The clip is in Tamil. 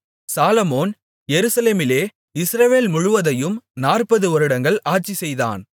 சாலொமோன் எருசலேமிலே இஸ்ரவேல் முழுவதையும் நாற்பது வருடங்கள் ஆட்சிசெய்தான்